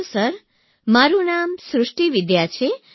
hello sir મારૂં નામ સૃષ્ટિ વિદ્યા છે